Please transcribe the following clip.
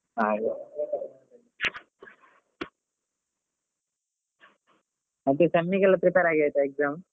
ಹಾಗೆ ಮತ್ತೆ sem ಗೆಲ್ಲ prepare ಆಗಿ ಆಯ್ತಾ exam .